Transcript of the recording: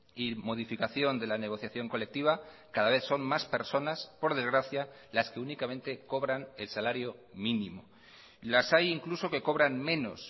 y modificación de la negociación colectiva cada vez son más personas por desgracia las que únicamente cobran el salario mínimo las hay incluso que cobran menos